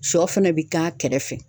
Sɔ fana bi k'a kɛrɛfɛ